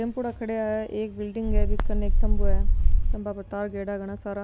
टेम्पुडा खड़ा है एक बिलडिंग है बि केन एक खम्भों है खंबा पर तार गिरेडा है घना सारा।